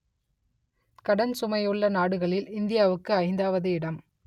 கடன் சுமையுள்ள நாடுகளில் இந்தியாவுக்கு ஐந்தாவது இடம்